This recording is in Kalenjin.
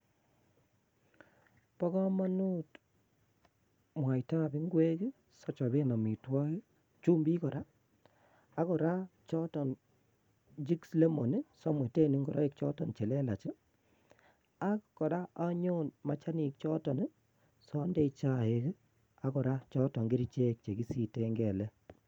Bo komonut mwaitab ngwek sochoben amitwogik chumbik kora ak kora choton jix lemon samweten ngoroik choton chelelach ak kora anyon machanik choton siandoi chaik ak kora choton kerchek chekisiten kelek.